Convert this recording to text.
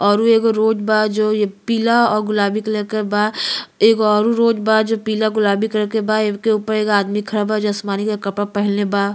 अउरु एगो रोड बा जो ये पीला और गुलाबी कलर के बा। एगो अउरो रोड बा जो पीला गुलाबी कलर के बा। एके ऊपर एगो आदमी खड़ा बा जो आसमानी कलर के कपड़ा पहिनले बा।